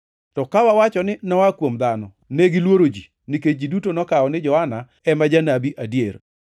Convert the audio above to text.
To ka wawacho ni, ‘Noa kuom dhano.’ ” (Negiluoro ji, nikech ji duto nokawo ni Johana ema janabi adier.)